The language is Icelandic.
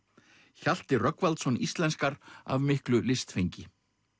Hjalti Rögnvaldsson íslenskar af miklu listfengi